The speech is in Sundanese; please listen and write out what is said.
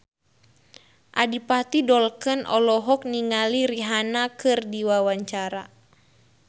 Adipati Dolken olohok ningali Rihanna keur diwawancara